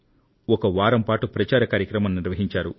ఒక వారం పాటు ప్రచార కార్యక్రమం నిర్వహించారు